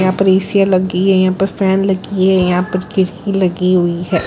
यहां पर एसियाँ लगी हैं फैन लगी हैं यहां पर खिड़की लगी हुई है।